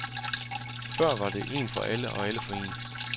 Før var det en for alle og alle for en.